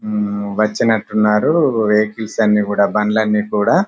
వచ్చినటు ఉన్నారు వెహికల్స్ అన్ని కూడా బండ్లన్నీ కుడా--